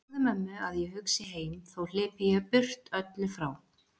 Segðu mömmu að hugsi ég heim þó hlypi ég burt öllu frá.